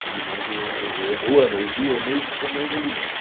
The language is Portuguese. Que eu me lembro o a o ano o ano, o dia, o mês, eu não não me lembro.